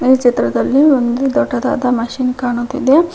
ಈ ಚಿತ್ರದಲ್ಲಿ ಒಂದು ದೊಡ್ಡದಾದ ಮಷೀನ್ ಕಾಣುತಿದೆ.